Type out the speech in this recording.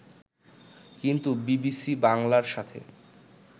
কিন্তু বিবিসি বাংলার সাথে